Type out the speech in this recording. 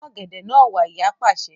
Mú ọ̀gẹ̀dẹ̀ náà wá! Ìyá pàṣẹ.